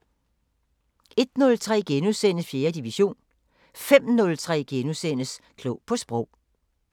01:03: 4. division * 05:03: Klog på Sprog *